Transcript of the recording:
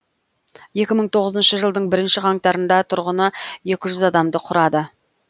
екі мың тоғызыншы жылдың бірінші қаңтарында тұрғыны екі жүз адамды құрады